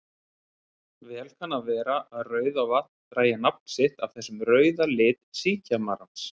Vel kann að vera að Rauðavatn dragi nafn sitt af þessum rauða lit síkjamarans.